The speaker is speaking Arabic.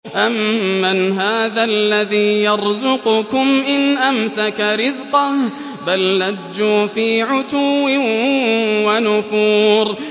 أَمَّنْ هَٰذَا الَّذِي يَرْزُقُكُمْ إِنْ أَمْسَكَ رِزْقَهُ ۚ بَل لَّجُّوا فِي عُتُوٍّ وَنُفُورٍ